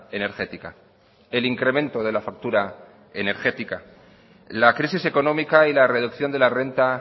energética el incremento de la factura energética la crisis económica y la reducción de la renta